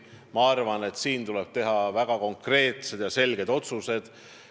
Ma arvan, et selle osas tuleb teha väga konkreetsed ja selged otsused.